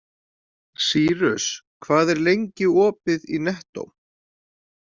Cýrus, hvað er lengi opið í Nettó?